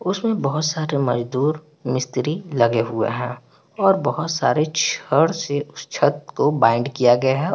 उसमे बहुत सारे मजदूर मिस्त्री लगे हुए हैं और बहुत सारे छड से उस छत को बैंड किया गया हैं।